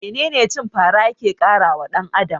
Menene cin fara yake karawa dan Adam?